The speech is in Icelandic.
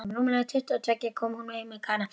Rúmlega tuttugu og tveggja kom hún heim með Kana.